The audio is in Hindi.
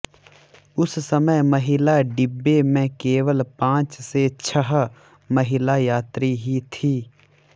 उस समय महिला डिब्बे में केवल पांच से छह महिला यात्री ही थीं